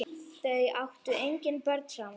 Þau áttu engin börn saman.